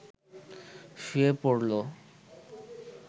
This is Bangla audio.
শুয়ে পড়ল